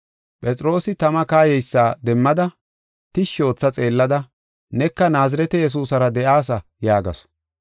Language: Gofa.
Phexroosi tama kayeysa demmada, tishshi ootha xeellada, “Neka Naazirete Yesuusara de7aasa” yaagasu.